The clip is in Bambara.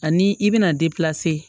Ani i bɛna